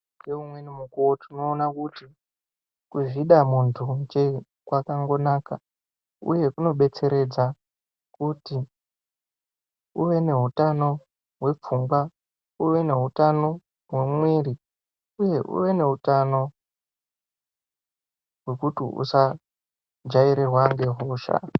Nge umweni mukuwo tino ona kuti kuzvida munhu nje kwakango naka uye kuno detseredza kuti uve ne utano hwe pfungwa uwe ne utano hwe muviri uye uwe ne utano hwekuti usa jairirwa ne hosha.